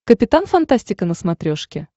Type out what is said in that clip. капитан фантастика на смотрешке